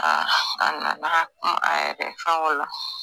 a nana kuma a yɛrɛ fɛnk'o la.